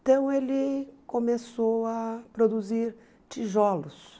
Então ele começou a produzir tijolos.